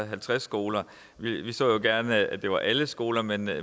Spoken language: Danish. halvtreds skoler vi vi så jo gerne at det var alle skoler men